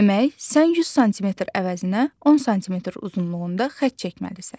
Demək, sən 100 sm əvəzinə 10 sm uzunluğunda xətt çəkməlisən.